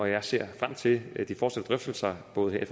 jeg ser frem til de fortsatte drøftelser både her i